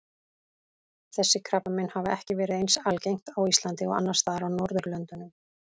Þessi krabbamein hafa ekki verið eins algengt á Íslandi og annars staðar á Norðurlöndunum.